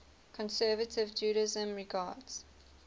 conservative judaism regards